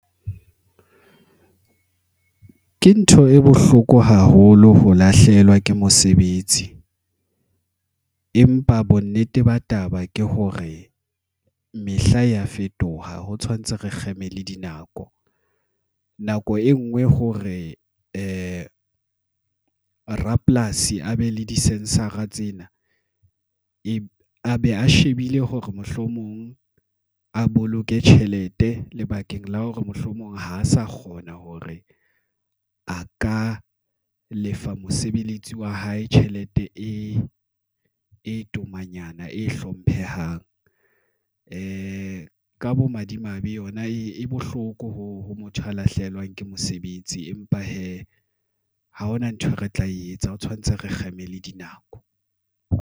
Ke ntho e bohloko haholo ho lahlehelwa ke mosebetsi, empa bonnete ba taba ke hore mehla ya fetoha ho tshwanetse re kgeme le dinako. Nako e ngwe hore rapolasi a be le di-sensor-a tsena a be a shebile hore mohlomong a boloke tjhelete lebakeng la hore mohlomong ha sa kgona hore a ka lefa mosebeletsi wa hae tjhelete e tomanyana e hlomphehang ka bo madimabe yona e bohloko ho ha motho a lahlehelwang ke mosebetsi. Empa hee ha hona nthwe, re tla e etsa ho tshwanetse re kgeme le dinako.